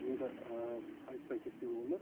енді айтпай кетпеуге болмайды